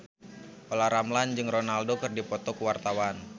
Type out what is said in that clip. Olla Ramlan jeung Ronaldo keur dipoto ku wartawan